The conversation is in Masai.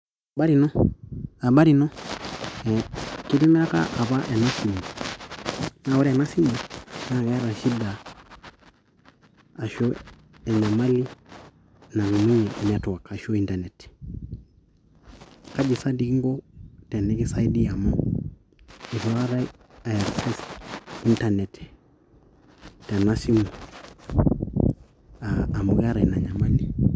Habari ino Habari ino ee kitimiraka apa ena simu naa ore ena simu naa keeta shida ashu enyamali e network ashuu internet kaji sa doi kinko tenekisaidia amu aitu aikata a access internet tena simu aa amu keeta ina nyamali.